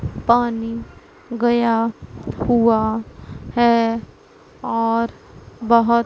पानी गया हुआ है और बहोत--